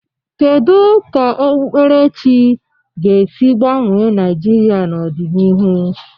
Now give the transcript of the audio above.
Kedu ka okpukperechi ga-esi gbanwee Naịjirịa n'ọdịnihu?